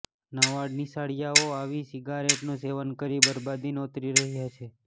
નવા નિશાળીયાઓ આવી સીગારેટનું સેવન કરી બરબાદી નોતરી રહ્યા છે